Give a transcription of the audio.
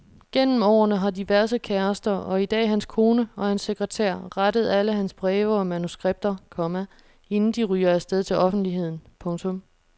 Gennem årene har diverse kærester og i dag hans kone og hans sekretær rettet alle hans breve og manuskripter, komma inden de ryger afsted til offentligheden. punktum